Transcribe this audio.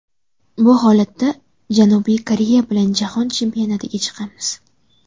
Bu holatda Janubiy Koreya bilan jahon chempionatiga chiqamiz.